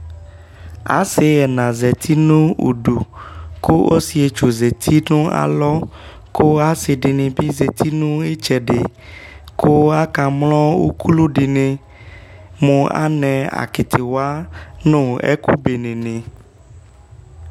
ase ɛna zati no udu ko ɔse etsu zati no alɔ ko ase di ni bi zati no itsɛdi ko aka mlɔ ukulu di ni mo anɛ akitiwa no ɛko bene ni